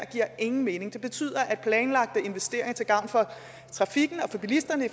ingen mening det betyder at planlagte investeringer til gavn for trafikken og bilisterne i